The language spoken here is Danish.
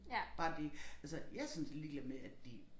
Bare det altså jeg sådan set ligeglad med at de